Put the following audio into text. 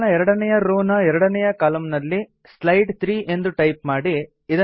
table ನ ಎರಡನೇಯ row ನ ಎರಡನೇಯ ಕಲಮ್ ನಲ್ಲಿ ಸ್ಲೈಡ್ 3 ಎಂದು ಟೈಪ್ ಮಾಡಿ